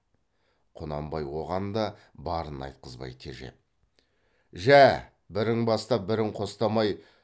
құнанбай оған да барын айтқызбай тежеп жә бірің бастап бірің қостамай